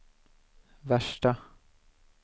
värsta